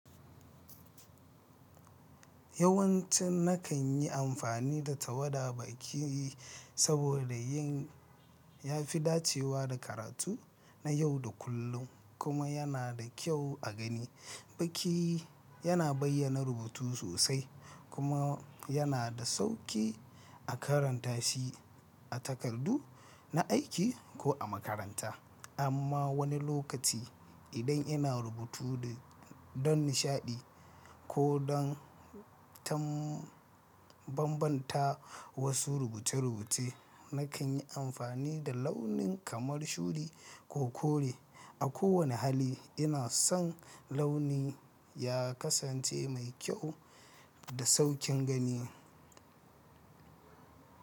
Yawanci nakan yi amfani da tawada baki saboda yin ya fi dacewa da karatu na yau da kullum kuma yana da kyau a gani. Baki yana bayyana rubutu sosai kuma yana da sauƙi a karanta shi a takardu na aiki ko a makaranta. Amma wani lokaci, idan ina rubutu da don nishaɗi ko don tambambanta wasu rubuce-rubuce, nakan yi amfani da launin kamar shudi ko kore. A kowane hali, ina son launi ya kasance mai kyau da sauƙin gani.